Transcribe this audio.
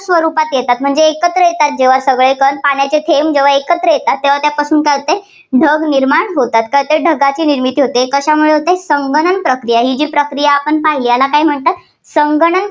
स्वरूपात येतात. म्हणजे एकत्र येतात जेव्हा ते सगळे कण पाण्याचे थेंब जेव्हा एकत्र येतात तेव्हा त्या पट्ट्यातून काय होते ढग निर्माण होतात. तर ते ढगांची निर्मिती होते. कशामुळे होते, संगणन प्रक्रिया, ही प्रक्रिया आपण पाहिली याला काय म्हणतात संगणन